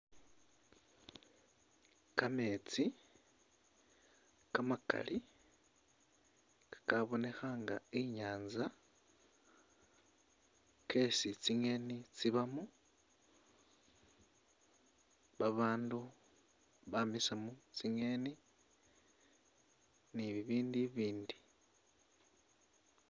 Kameetsi kamakali kakabonekha nga i'nyaanza, kesi tsingeni tsibamu, babandu bamisamu tsingeni ni bibindu ibiindi.